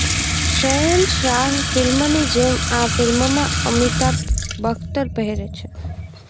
શહેનશાહ ફિલ્મની જેમ આ ફિલ્મમાં અમિતાભ બખ્તર પહેરે છે